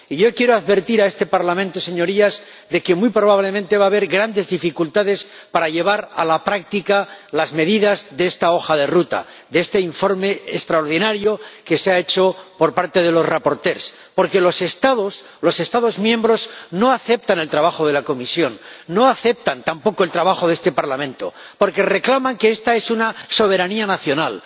Y yo quiero advertir a este Parlamento, Señorías, de que muy probablemente va a haber grandes dificultades para llevar a la práctica las medidas de esta hoja de ruta, de este informe extraordinario elaborado por los ponentes, porque los Estados miembros no aceptan el trabajo de la Comisión ni aceptan tampoco el trabajo de este Parlamento porque reclaman que esta cuestión es soberanía nacional,